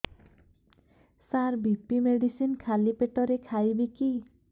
ସାର BP medicine ଖାଲି ପେଟରେ ଖାଇବି କି